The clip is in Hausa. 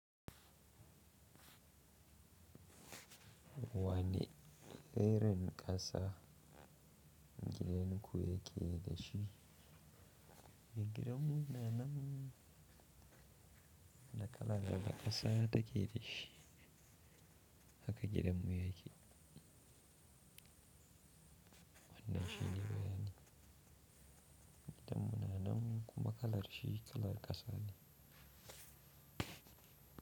Wani irin ƙasa gidan ku yake da shi? Gidan munanan. Da kala kalar ƙasa take da shi haka gidan mu yake. Wannan shi ne bayanin. Gidan munanan kuma kalar shi kalar ƙasa ne.